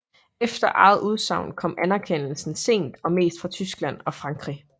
Efter eget udsagn kom anerkendelsen sent og mest fra Tyskland og Frankrig